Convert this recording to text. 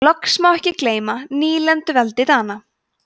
loks má ekki gleyma nýlenduveldi dana